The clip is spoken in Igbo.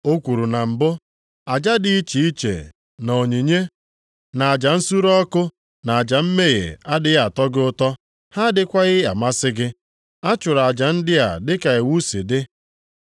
O kwuru na mbụ, “Aja dị iche iche, na onyinye, na aja nsure ọkụ na aja mmehie adịghị atọ gị ụtọ, ha adịghịkwa amasị gị” (a chụrụ aja ndị a dịka iwu si dị).